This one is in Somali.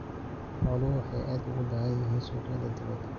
Xooluhu waxay aad ugu baahan yihiin suuqyada dibadda.